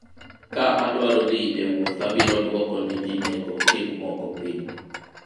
ka adwaro dhi e wuoth abiro dwoko ne ji nengo gik moko piny